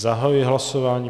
Zahajuji hlasování.